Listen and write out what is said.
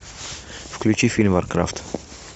включи фильм варкрафт